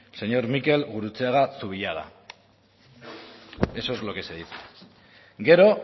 el mikel gurutzeaga zubillaga eso es lo que se dice gero